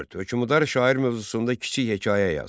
Hökümdar şair mövzusunda kiçik hekayə yaz.